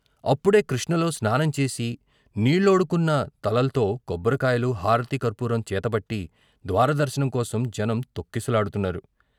అపుడే కృష్ణలో స్నానం చేసి నీళ్ళోడుకున్న తలల్తో కొబ్బరికాయలు, హారతి కర్పూరం చేతబట్టి ద్వార దర్శనం కోసం జనం తొక్కిసలాడుతున్నారు.